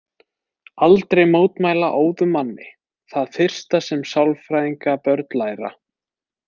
Aldrei mótmæla óðum manni Það fyrsta sem sálfræðingabörn læra.